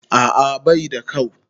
A'a baida kau